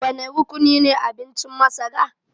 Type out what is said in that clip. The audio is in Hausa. Wane rukunine abincin masara